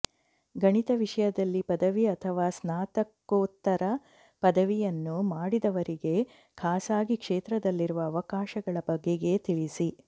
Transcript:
ಗಣಿತ ವಿಷಯದಲ್ಲಿ ಪದವಿ ಅಥವಾ ಸ್ನಾತಕೋತ್ತರ ಪದವಿಯನ್ನು ಮಾಡಿದವರಿಗೆ ಖಾಸಗಿ ಕ್ಷೇತ್ರದಲ್ಲಿರುವ ಅವಕಾಶಗಳ ಬಗೆಗೆ ತಿಳಿಸಿ